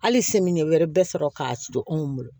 Hali wɛrɛ bɛ sɔrɔ k'a sɔrɔ anw bolo